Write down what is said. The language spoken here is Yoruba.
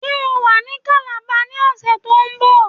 Ṣé o wà ní Calabar ní ọ̀sẹ̀ to ń bọ̀